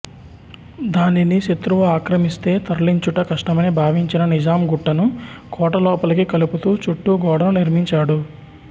దానిని శత్రువు ఆక్రమిస్తే తరలించుట కష్టమని భావించిన నిజాం గుట్టను కోటలోపలికి కలుపుతూ చుట్టూ గోడను నిర్మించాడు